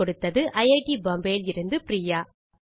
குரல் கொடுத்தது ஐட் பாம்பே லிருந்து பிரியா